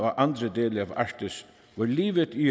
og andre dele af arktis hvor livet i